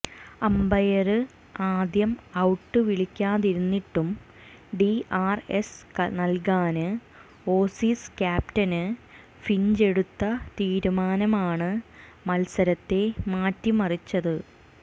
umpire ആദ്യം out വിളിക്കാതിരിന്നിട്ടും DRS നല്കാന് ഓസീസ് ക്യാപ്റ്റന് ഫിഞ്ചെടുത്ത തീരുമാനമാണ് മത്സരത്തെ മാറ്റി മറിച്ചത്